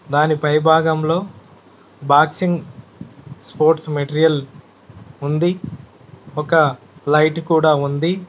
దాని పై భాగంలో బాక్సింగ్ స్పోర్ట్స్ మెటీరియల్ ఉంది ఒక లైట్ కూడా ఉంది.